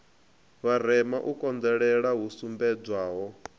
vharema u konḓelela hu sumbedzwaho